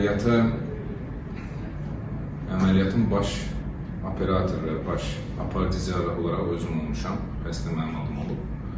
Əməliyyatı əməliyyatın baş operatoru, baş aparıcı olaraq özüm olmuşam, xəstə mənim adım olub.